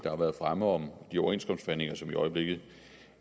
har været fremme om de overenskomstforhandlinger som i øjeblikket